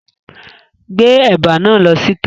Gbé ẹ̀bà náà lọ síta!